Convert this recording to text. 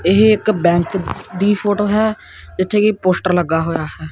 ਇਹ ਇੱਕ ਬੈਂਕ ਦੀ ਫੋਟੋ ਹੈ ਜਿੱਥੇ ਕੀ ਪੋਸਟਰ ਲੱਗਾ ਹੋਇਆ ਹੈ।